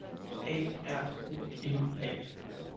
A R O M A